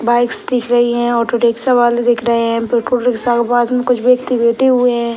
Bikes दिख रही है ऑटो रिक्शा वाले दिख रहे हैं रिक्शा के पास में कुछ व्यक्ति बैठे हुए हैं।